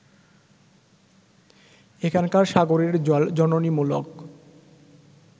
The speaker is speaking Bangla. এখানকার সাগরের জল জননীমূলক